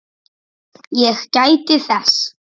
Ég gæti þess.